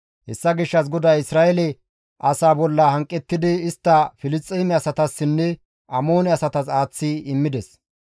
Hessa gishshas GODAY Isra7eele asaa bolla hanqettidi istta Filisxeeme asatassinne Amoone asatas aaththi immides.